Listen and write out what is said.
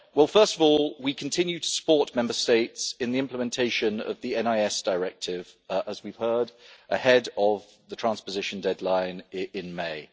First of all, we continue to support Member States in the implementation of the NIS Directive, as we have heard, ahead of the transposition deadline in May.